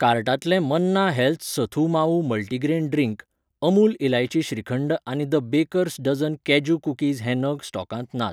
कार्टांतले Manna health sathu maavu multigrain drink , Amul इलायची श्रीखंड आनी The Baker's Dozen cashew cookies हे नग स्टॉकांत नात.